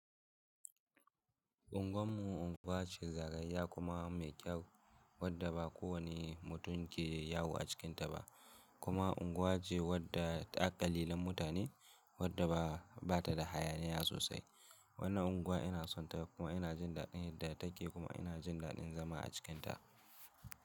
Unguwar mu unguwa ce zagayayya kuma mai kyau wadda ba kowanne mutumke yawo a cikinta ba kuma unguwa ce wadda akalilan mutane wadda ba bata da hayaniya sosai. Wannan unguwa ina sonta kuma ina jin dadin yadda take kuma ina jin dadin zama a cikinta.